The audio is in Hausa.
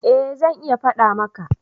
eh zan iya fada maka